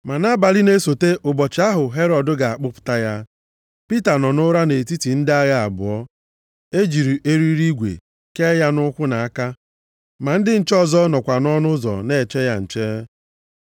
Ma nʼabalị na-esota ụbọchị ahụ Herọd ga-akpụpụta ya, Pita nọ nʼụra nʼetiti ndị agha abụọ, e jiri eriri igwe kee ya nʼụkwụ nʼaka, ma ndị nche ọzọ nọkwa nʼọnụ ụzọ na-eche ya nche.